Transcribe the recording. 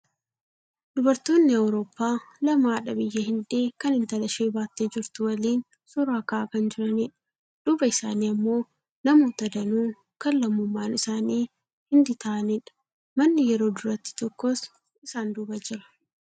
Dubartoonni awurooppaa lama haadha biyya hindii kan intala ishee baattee jirtu waliin suuraa ka'aa kan jiranidha. Duuba isaani ammoo namoota danuu kan lamummaan isaanii hindii ta'anidha. Manni yeroo durattii tokkos isaan duuba jira.